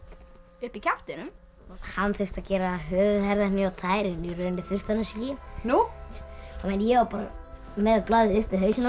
upp í kjaftinum hann þurfti að gera höfuð herðar hné og tær en í rauninni þurfti hann þess ekki nú en ég var bara með blaðið upp við hausinn á